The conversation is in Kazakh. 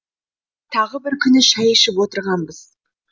тағы бір күні шәй ішіп отырғанбыз